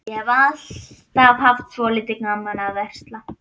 Ég hef alltaf haft svolítið gaman af að versla.